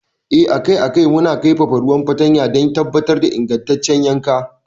Eh, akai a kai muna kaifafa ruwan fartanya don tabbatar da ingantaccen yankan.